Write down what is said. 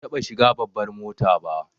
Ban taɓa shiga babbar mota ba